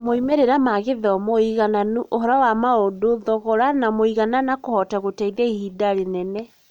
moimĩrĩra ma gĩthomo, ũigananu, ũhoro wa maũndũ, thogora, na mũigana na kũhota gũteithia ihinda rĩnene.